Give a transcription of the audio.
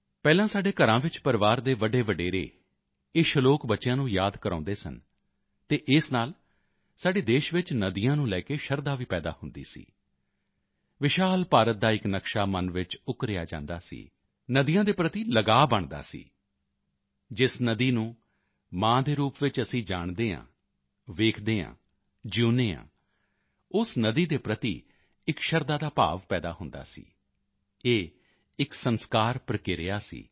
ਪਹਿਲਾਂ ਸਾਡੇ ਘਰਾਂ ਵਿੱਚ ਪਰਿਵਾਰ ਦੇ ਵੱਡੇਵਢੇਰੇ ਇਹ ਸ਼ਲੋਕ ਬੱਚਿਆਂ ਨੂੰ ਯਾਦ ਕਰਵਾਉਂਦੇ ਸਨ ਅਤੇ ਇਸ ਨਾਲ ਸਾਡੇ ਦੇਸ਼ ਵਿੱਚ ਨਦੀਆਂ ਨੂੰ ਲੈ ਕੇ ਸ਼ਰਧਾ ਵੀ ਪੈਦਾ ਹੁੰਦੀ ਸੀ ਵਿਸ਼ਾਲ ਭਾਰਤ ਦਾ ਇੱਕ ਨਕਸ਼ਾ ਮਨ ਵਿੱਚ ਉਕਰਿਆ ਜਾਂਦਾ ਸੀ ਨਦੀਆਂ ਦੇ ਪ੍ਰਤੀ ਲਗਾਅ ਬਣਦਾ ਸੀ ਜਿਸ ਨਦੀ ਨੂੰ ਮਾਂ ਦੇ ਰੂਪ ਵਿੱਚ ਅਸੀਂ ਜਾਣਦੇ ਹਾਂ ਵੇਖਦੇ ਹਾਂ ਜਿਊਂਦੇ ਹਾਂ ਉਸ ਨਦੀ ਦੇ ਪ੍ਰਤੀ ਇੱਕ ਸ਼ਰਧਾ ਦਾ ਭਾਵ ਪੈਦਾ ਹੁੰਦਾ ਸੀ ਇਹ ਇੱਕ ਸੰਸਕਾਰ ਪ੍ਰਕਿਰਿਆ ਸੀ